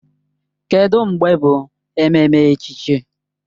Kedụ mgbe bụ ememme echichi?